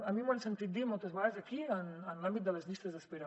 a mi m’ho han sentit dir moltes vegades aquí en l’àmbit de les llistes d’espera